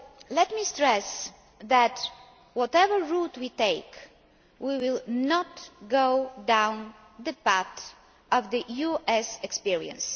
Let me stress that, whatever route we take, we will not go down the path of the US experience.